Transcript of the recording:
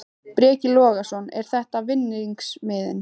Breki Logason: Er þetta vinningsmiðinn?